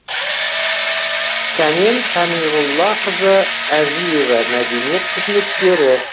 сәнен сәмиғұллақызы әжиева мәдениет қызметкері